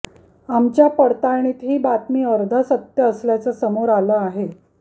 आमच्या पडताळणीत ही बातमी अर्ध सत्य असल्याचं समोर आलं आहे